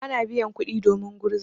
Bana biyan kuɗi domin gurza.